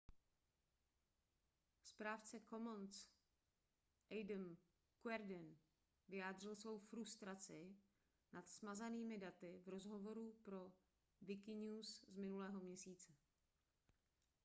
správce commons adam cuerden vyjádřil svou frustraci nad smazánými daty v rozhovoru pro wikinews z minulého měsíce